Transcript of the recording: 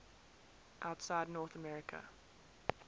outside north america